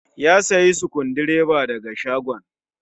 Ya sayi Sukundireba da ga shagon.